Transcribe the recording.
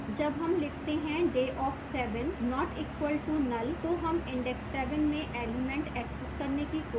जब हम लिखते हैं day 7 not equal to null तो हम index 7 में element access करने की कोशिश कर रहे हैं